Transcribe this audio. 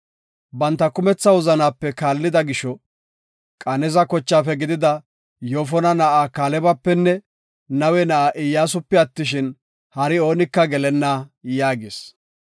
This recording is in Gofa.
Banta kumetha wozanape kaallida gisho, Qeneza Yoofona na7aa Kaalebapenne Nawe na7aa Iyyasupe attishin, hari oonika gelenna’ yaagis.